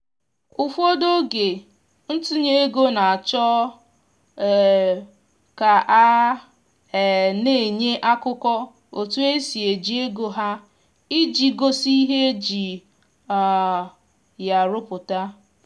ụfọdụ oge ntụnye ego na-achọ um ka a um na-enye akụkọ otu esi eji ego ha iji gosi ihe eji um ya rụpụta